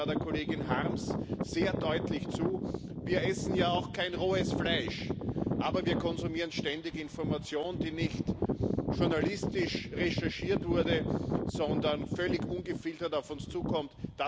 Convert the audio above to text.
Ich stimme da der Kollegin Harms sehr deutlich zu Wir essen ja auch kein rohes Fleisch, aber wir konsumieren ständig Information, die nicht journalistisch recherchiert wurde, sondern völlig ungefiltert auf uns zukommt.